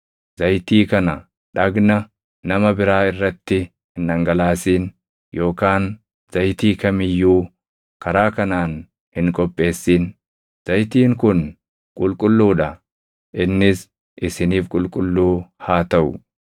Zayitii kana dhagna nama biraa irratti hin dhangalaasin yookaan zayitii kam iyyuu karaa kanaan hin qopheessin. Zayitiin kun qulqulluu dha; innis isiniif qulqulluu haa taʼu.